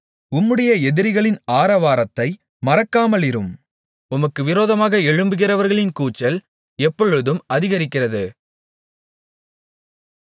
உம்முடைய எதிரிகளின் ஆரவாரத்தை மறக்காமலிரும் உமக்கு விரோதமாக எழும்புகிறவர்களின் கூச்சல் எப்பொழுதும் அதிகரிக்கிறது